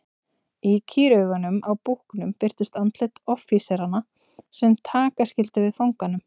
Í kýraugunum á búknum birtust andlit offíseranna sem taka skyldu við fanganum.